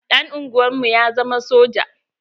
Ɗan unguwar mu ya zama soja.